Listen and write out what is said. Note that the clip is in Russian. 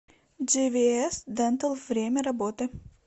джи ви эс дентал время работы